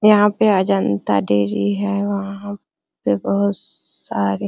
यहां पे अजंता डायरी है वहां पे बहुत सारे --